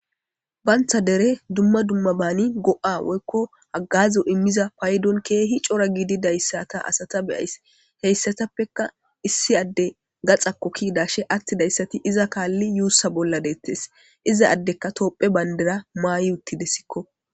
Bantha dere dumma dumma baani go'a woykko hagazo immiza paydon keehi cora giidi dayssata asata beyays heyssatappeka issi adde gaxakkokki dashe atti dayssati iza kaalli yuussa bolla deettes iza addeka toopphe bayndera maay uttidessikko